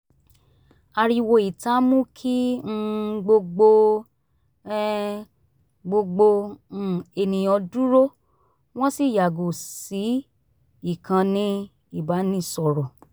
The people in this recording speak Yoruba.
ariwo ìta mú kí um gbogbo um gbogbo um ènìyàn dúró wọ́n sì yàgò sí ìkànnì ìbánisọ̀rọ̀